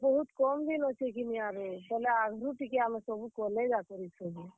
ବହୁତ୍ କମ୍ ଦିନ୍ ଅଛେ କିନି ଆରୁ, ବେଲେ ଆଘରୁ ଟିକେ ଆମେ ସବୁ କଲେ ଯାକର ଇ ସବୁ।